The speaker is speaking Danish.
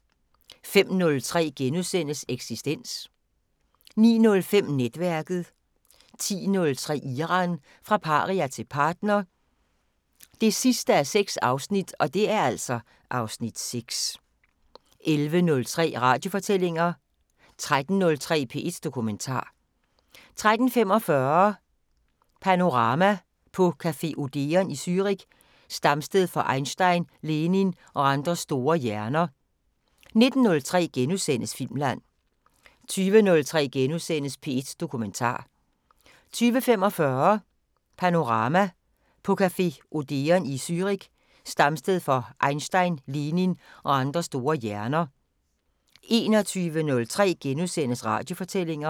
05:03: Eksistens * 09:05: Netværket 10:03: Iran – fra paria til partner 6:6 (Afs. 6) 11:03: Radiofortællinger 13:03: P1 Dokumentar 13:45: Panorama: På café Odeon i Zürich, stamsted for Einstein, Lenin og andre store hjerner 19:03: Filmland * 20:03: P1 Dokumentar * 20:45: Panorama: På café Odeon i Zürich, stamsted for Einstein, Lenin og andre store hjerner 21:03: Radiofortællinger *